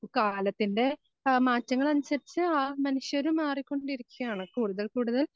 കാലത്തിൻ്റെ ആ മാറ്റങ്ങളനുസരിച്ച് ആ മനുഷ്യനും മാറിക്കൊണ്ടിരിക്കുകയാണ് കൂടുതൽ കൂടുതൽ